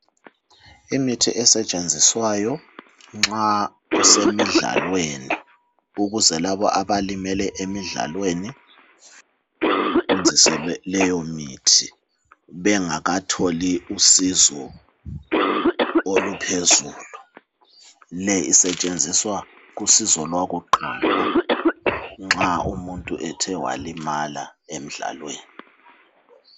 Imithi esetshenziswayo nxa kusemidlalweni. Ukuze labo abalimele emidlalweni benziselwe leyomithi, bengakatholi usizo oluphezulu. Le isetshenziswa kusizo lwakuqala nxa umuntu ethe walimala emdlalweni.